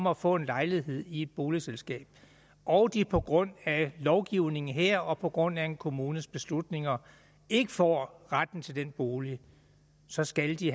at få en lejlighed i et boligselskab og at de på grund af lovgivningen her og på grund af en kommunes beslutninger ikke får retten til den bolig så skal de